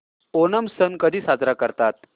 ओणम सण कधी साजरा करतात